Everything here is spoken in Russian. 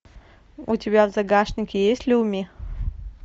у тебя в загашнике есть люми